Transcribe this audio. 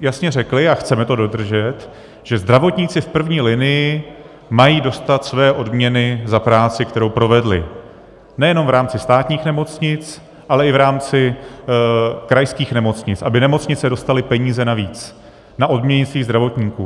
jasně řekli, a chceme to dodržet, že zdravotníci v první linii mají dostat své odměny za práci, kterou provedli nejenom v rámci státních nemocnic, ale i v rámci krajských nemocnic, aby nemocnice dostaly peníze navíc na odměny svých zdravotníků.